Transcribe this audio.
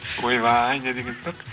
ойбай не деген сұрақ